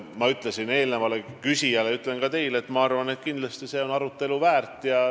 Ma ütlesin eelnevale küsijale ja ütlen ka teile, et minu arvates on see arutelu väärt.